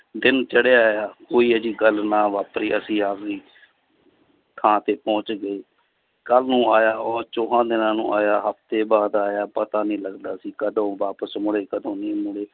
ਦਿਨ ਚੜ੍ਹੇ ਆਇਆ ਕੋਈ ਅਜਿਹੀ ਗੱਲ ਨਾ ਵਾਪਰੀ ਅਸੀਂ ਆਪਦੀ ਥਾਂ ਤੇ ਪਹੁੰਚ ਗਏ ਕੱਲ੍ਹ ਨੂੰ ਆਇਆ, ਉਹ ਚੋਹਾਂ ਦਿਨਾਂ ਨੂੰ ਆਇਆ ਹਫ਼ਤੇ ਬਾਅਦ ਆਇਆ ਪਤਾ ਨੀ ਲੱਗਦਾ ਸੀ ਕਦੋਂ ਵਾਪਸ ਮੁੜੇ ਕਦੋਂ ਨਹੀਂ ਮੁੜੇ